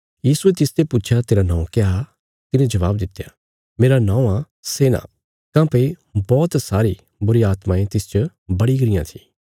यीशुये तिसते पुच्छया तेरा नौं क्या तिने जबाब दित्या मेरा नौं आ सेना काँह्भई बौहत सारी बुरीआत्मायें तिसच बड़ी गरियां थी